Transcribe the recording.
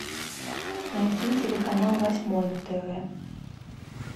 найти телеканал восьмой на тв